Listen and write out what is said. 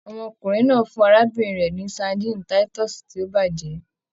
Ọmọkùnrin náà fún arábìnrin rẹ ni sadinni titọsi to bajẹ